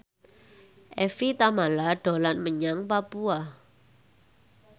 Evie Tamala dolan menyang Papua